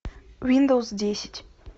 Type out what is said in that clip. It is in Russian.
виндовс десять